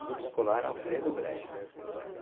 Grupo Escolar Alfredo Bressa.